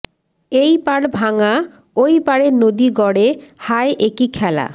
এই পাড় ভাঙ্গা ঐ পাড়ে নদী গড়ে হায় একি খেলা